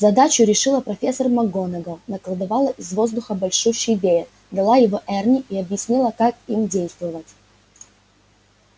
задачу решила профессор макгонагалл наколдовала из воздуха большущий веер дала его эрни и объяснила как им действовать